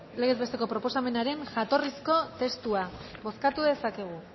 legez besteko proposamenaren jatorrizko testua bozkatu dezakegu